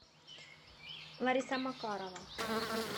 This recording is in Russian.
лариса макарова